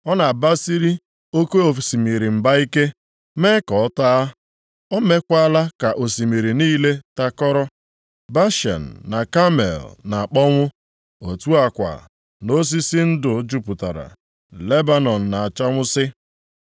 Ọ na-abasiri oke osimiri mba ike, mee ka ọ taa, o mekwaala ka osimiri niile takọrọ. Bashan na Kamel na-akpọnwụ, otu a kwa, nʼosisi ndụ jupụtara Lebanọn na-achanwụsị.